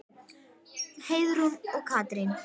Heiðrún og Katrín.